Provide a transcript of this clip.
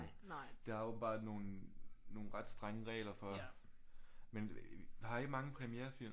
Der er åbentbart nogle nogle ret strenge regler for men har i mange premierefilm